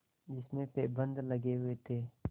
जिसमें पैबंद लगे हुए थे